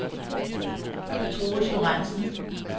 Troels Lorentsen